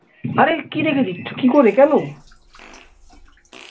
আরে কি রেখে দিচ্ছ কি করে কেন?